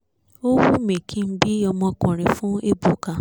ó wímí kí n bí ọmọkùnrin fún ébùkà